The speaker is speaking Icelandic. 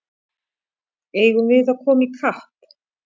Eigum við að koma í kapp!